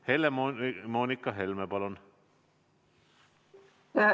Helle-Moonika Helme, palun!